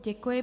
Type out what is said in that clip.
Děkuji.